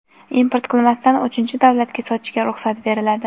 import qilmasdan uchinchi davlatga sotishga ruxsat beriladi.